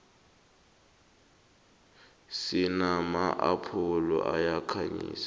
sinama apholo ayakhanyisa